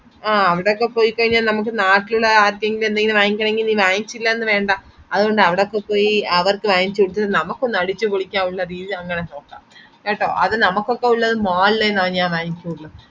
ആഹ് അവിടൊക്കെ പോയി കൈഞ്ഞാൽ നമക് നാട്ടിലുള്ള ആർക്കേലും എന്തെലും വാങ്ങിക്കണംന്നുണ്ടെങ്കി ഇനി വാങ്ങിച്ചില്ലെന്നു വേണ്ട അതോണ്ട് അവിടൊക്കെ പോയി അവർക്ക് വാങ്ങിച്ചിട്ടു നമ്മക്കൊന്ന് അടിച്ചു പൊളിക്കവുന്ന രീതിൽ അങ്ങനെ നോക്കാം കേട്ടോ അത് നമക് ഒക്കെ ഉള്ളത് mall ലെന്നെ ഞാൻ വാങ്ങികൊള്ളൂ